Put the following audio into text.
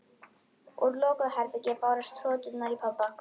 Úr lokuðu herbergi bárust hroturnar í pabba.